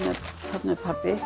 þarna er pabbi